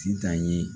Sitan ye